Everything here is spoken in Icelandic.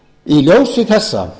í ljósi þessa